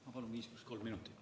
Ma palun 5 + 3 minutit.